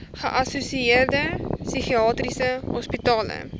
geassosieerde psigiatriese hospitale